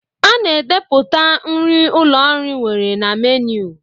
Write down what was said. A na-edepụta nri ụlọ nri nwere na menu.